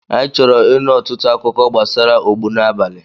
Anyị chọrọ ịnụ ọtụtụ akụkọ gbasara ogbunabali.